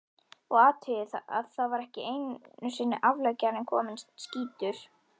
Og athugið að þá var ekki einusinni afleggjarinn kominn, skýtur